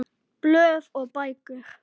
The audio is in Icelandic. Blöð og bækur